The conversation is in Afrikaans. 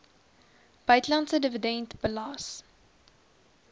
buitelandse dividend belas